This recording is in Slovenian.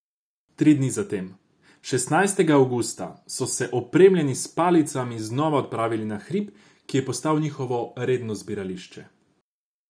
Tri dni zatem, šestnajstega avgusta, so se opremljeni s palicami znova odpravili na hrib, ki je postal njihovo redno zbirališče.